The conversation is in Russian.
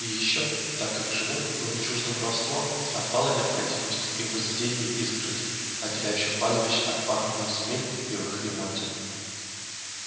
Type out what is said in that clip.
и ещё так как животным было чуждо воровство отпала необходимость и в возведении изгородей отделяющих пастбища от пахотных земель и в их ремонте